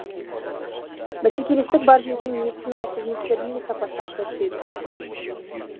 бәсекелестік бар жерде медициналық қызметтердің де сапасы арта түседі